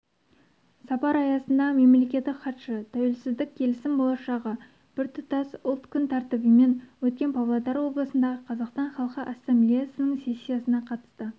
сапар аясында мемлекеттік хатшы тәуелсіздік келісім болашағы біртұтас ұлт күн тәртібімен өткен павлодар облысындағы қазақстан халқы ассамблеясының сессиясына қатысты